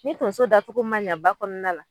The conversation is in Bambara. Ni tonso dacogo ma ɲa ba kɔɔna la